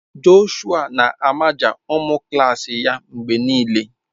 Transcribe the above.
Jọshụa na-amaja ụmụ klas ya mgbe niile.